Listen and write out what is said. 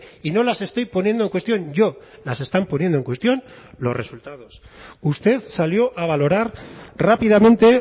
y no las estoy poniendo en cuestión yo las están poniendo en cuestión los resultados usted salió a valorar rápidamente